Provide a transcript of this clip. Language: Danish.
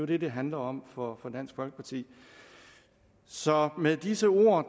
det det handler om for dansk folkeparti så med disse ord